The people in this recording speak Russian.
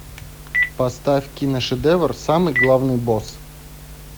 поставь кино шедевр самый главный босс